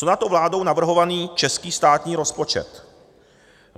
Co na to vládou navrhovaný český státní rozpočet?